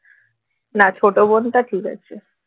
না ছোট বোনটা ঠিক আছে